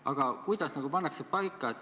Aga kuidas reeglid paika pannakse?